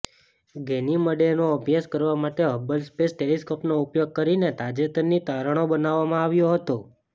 ગેનીમડેનો અભ્યાસ કરવા માટે હબલ સ્પેસ ટેલિસ્કોપનો ઉપયોગ કરીને તાજેતરની તારણો બનાવવામાં આવ્યા હતા